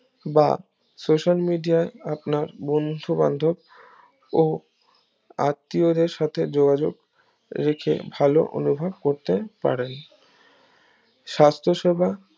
বা social media আয় আপনার বন্ধু বান্ধব ও আত্বিয়দের সাথে যোগাযোক রেখে ভালো অনুভব করতে পারেন সাস্থ সেবা